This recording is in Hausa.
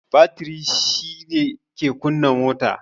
Batiri shi ke kunna mota